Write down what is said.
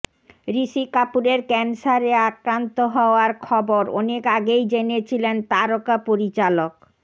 ঋষি কাপুরের ক্যানসারে আক্রান্ত হওয়ার খবর অনেক আগেই জেনেছিলেন তারকা পরিচালক